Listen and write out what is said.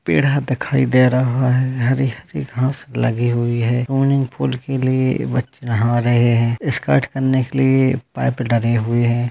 पेड़ा दिखाई दे रहा हे हरी हरी घास लगी हुए हे स्विमिंग पूल के लिए बच्चे नहा रहे हे स्टंट करने के लिए पाइप लगे हुए है।